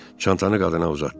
Çantanı qadına uzatdı.